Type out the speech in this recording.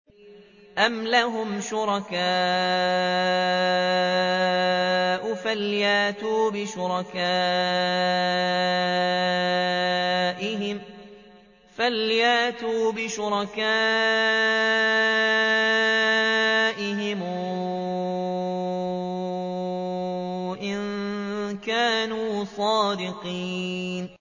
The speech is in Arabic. أَمْ لَهُمْ شُرَكَاءُ فَلْيَأْتُوا بِشُرَكَائِهِمْ إِن كَانُوا صَادِقِينَ